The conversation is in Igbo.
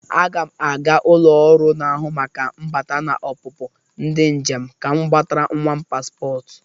Aga m aga ụlọ ọrụ n'ahụ maka mbata na ọpụpụ ndị njem ka m gbatara nwam paspọt.